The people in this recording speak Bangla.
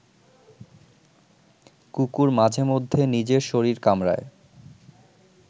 কুকুর মাঝেমধ্যে নিজের শরীর কামড়ায়